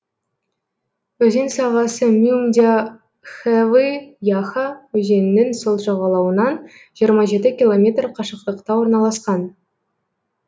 өзен сағасы мюмдя хэвы яха өзенінің сол жағалауынан жиырма жеті километр қашықтықта орналасқан